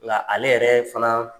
Nka ale yɛrɛ fana